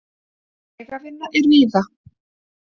Vegavinna er víða